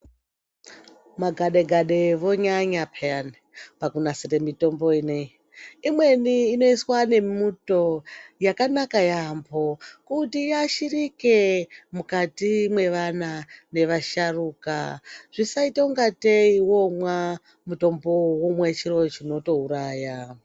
Magade gade vonyanya peyani pakunasire mitombo inei. Imweni inoiswa nemuto yakanaka yaambo kuti iasharike mukati mwevana nevasharuka zvisaita ungatei voomwa mutombowo vomwa chiro chinotouraya.